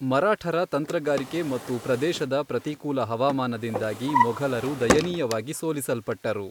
ಮರಾಠರ ತಂತ್ರಗಾರಿಕೆ ಮತ್ತು ಪ್ರದೇಶದ ಪ್ರತಿಕೂಲ ಹವಾಮಾನದಿಂದಾಗಿ ಮೊಘಲರು ದಯನೀಯವಾಗಿ ಸೋಲಿಸಲ್ಪಟ್ಟರು.